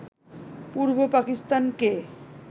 পূর্ব পাকিস্তানকে